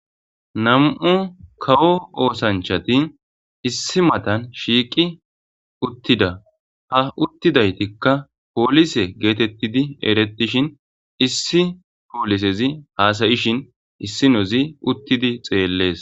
nam7u kawo oosanchati issi matan shiiqi uttida ha uttidaytikka poolise geetettidi eretishin issi poolisezi haasayishin issinozi uttidi xeellees